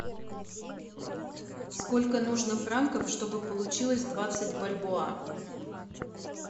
сколько нужно франков чтобы получилось двадцать бальбоа